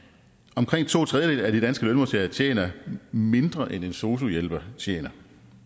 omkring to tredjedele af de danske lønmodtagere tjener mindre end en sosu hjælper tjener